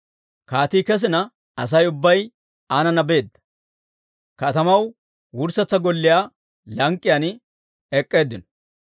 Kaatii kesina, Asay ubbay aanana beedda; katamaw wurssetsa golliyaa lank'k'iyaan ek'k'eeddinno.